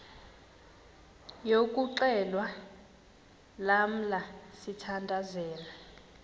yokuxhelwa lamla sithandazel